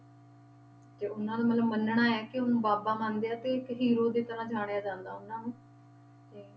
ਤੇ ਉਹਨਾਂ ਨੂੰ ਮਤਲਬ ਮੰਨਣਾ ਹੈ ਕਿ ਉਹਨੂੰ ਬਾਬਾ ਮੰਨਦੇ ਆ ਤੇ ਇੱਕ hero ਦੀ ਤਰ੍ਹਾਂ ਜਾਣਿਆ ਜਾਂਦਾ ਉਹਨਾਂ ਨੂੰ ਤੇ